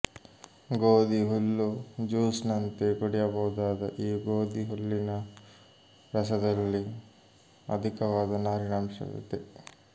ಗೋಧಿ ಹುಲ್ಲು ಜ್ಯೂಸ್ ನಂತೆ ಕುಡಿಯಬಹುದಾದ ಈ ಗೋಧಿ ಹುಲ್ಲಿನ ರಸದಲ್ಲಿ ಅಧಿಕವಾದ ನಾರಿನಂಶವಿದೆ